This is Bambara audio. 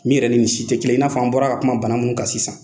Min yɛrɛ ni nin si tɛ kelen i n'a fɔ an bɔra ka kuma bana min kan sisan.